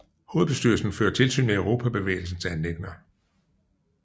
Hovedbestyrelsen fører tilsyn med Europabevægelsens anliggender